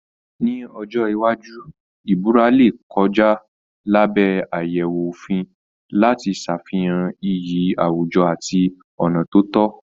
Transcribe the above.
Ní ọjọ́ iwájú ìbúra lè kọjá lábẹ́ àyẹ̀wò òfin láti ṣàfihàn iyì àwùjọ àti ọ̀nà tó tọ́